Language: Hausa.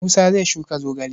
Musa zai shuka zogale.